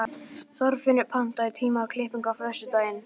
Þorfinnur, pantaðu tíma í klippingu á föstudaginn.